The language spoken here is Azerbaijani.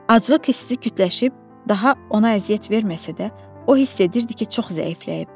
Aclıq hissi kütləşib daha ona əziyyət verməsə də, o hiss edirdi ki, çox zəifləyib.